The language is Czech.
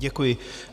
Děkuji.